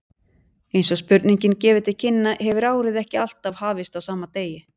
Eins og spurningin gefur til kynna hefur árið ekki alltaf hafist á sama degi.